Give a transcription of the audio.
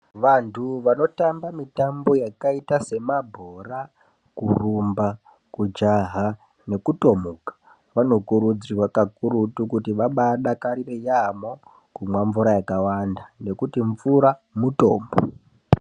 Vantu vanotamba mitambo yakaita semabhora kurumba kujaha nekutomuka vanokurudzirwa kakurutu kuti vabaidakarire yamho kumwa mvura yakawanda ngekuti mvura mutombo